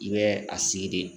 I bɛ a sigi de